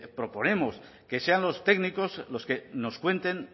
proponemos que sean los técnicos los que nos cuenten